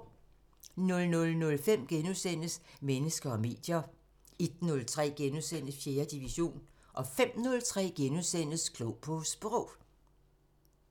00:05: Mennesker og medier * 01:03: 4. division * 05:03: Klog på Sprog *